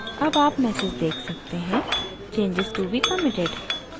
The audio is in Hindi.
अब आप message देख सकते हैं changes to be committed: